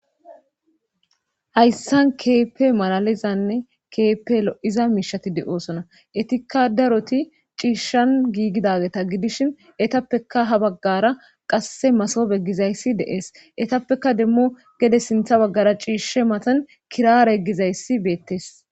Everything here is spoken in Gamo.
Hyssan keepe malalizanne keepe lo'iza miishati de'oosona etikka daroti ciishshan giigidageta gidishin etappeka ha baggara qasse masobe gizayssi deees etappeka demmo gede sintha baggara ciishshe matan kiraare gizayssi beettes.